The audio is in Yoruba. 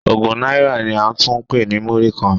Ogún náírà ni a tún ń pè ní Múrí-kan.